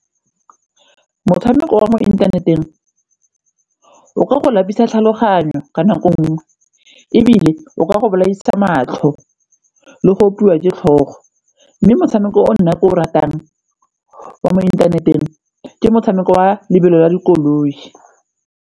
Motshameko wa mo inthaneteng o ka go lapisa tlhaloganyo ka nako nngwe ebile o ka go bolaisa matlho le go opiwa ke tlhogo mme motshameko o nna ke o ratang wa mo inthaneteng ke motshameko wa lebelo la dikoloi.